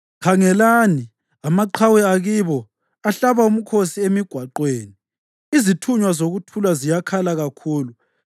Khangelani, amaqhawe akibo ahlaba umkhosi emigwaqweni! Izithunywa zokuthula ziyakhala kakhulu.